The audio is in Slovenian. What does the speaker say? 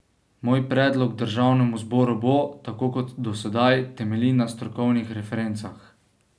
Moj predlog državnemu zboru bo, tako kot do sedaj, temeljil na strokovnih referencah.